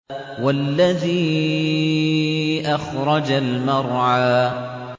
وَالَّذِي أَخْرَجَ الْمَرْعَىٰ